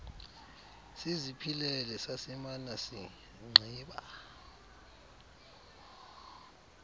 siziphilele sasimana singqiba